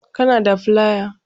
Kana da flaya?